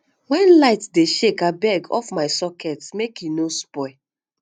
wen light dey shake abeg off my socket make e no spoil